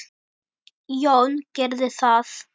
Jón gerði það.